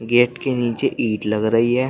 Gate के नीचे ईट लग रही है।